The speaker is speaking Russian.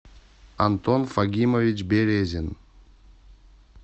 антон фагимович березин